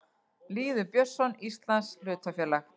Lýður Björnsson: Íslands hlutafélag.